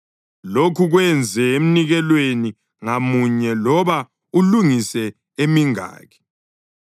Lokhu kwenze emnikelweni ngamunye loba ulungise emingaki.